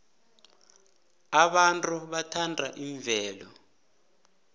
abantu bathanda imvelo